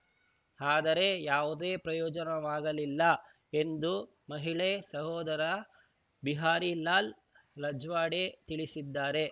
ಆದರೆ ಯಾವುದೇ ಪ್ರಯೋಜನವಾಗಲಿಲ್ಲ ಎಂದು ಮಹಿಳೆ ಸಹೋದರ ಬಿಹಾರಿ ಲಾಲ್‌ ರಜ್ವಾಡೆ ತಿಳಿಸಿದ್ದಾರೆ